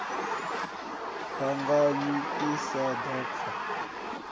phangami i sa ḓo fa